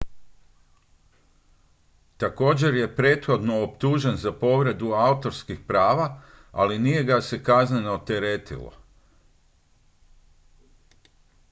također je prethodno optužen za povredu autorskih prava ali nije ga se kazneno teretilo